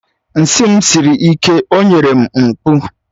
Nsị m siri ike o nyere m mkpụ